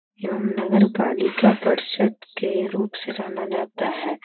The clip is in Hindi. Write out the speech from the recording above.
एवं नगर पालिका परिषद् के रूप से जाना जाता हैं।